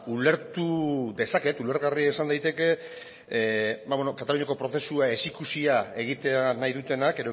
ulertu dezaket ulergarria izan daiteke kataluniako prozesua ezikusia egitea nahi dutenak